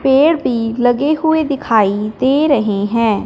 पेड़ भी लगे हुए दिखाई दे रहे हैं।